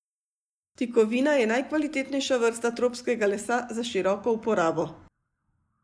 Tikovina je najkvalitetnejša vrsta tropskega lesa za široko uporabo.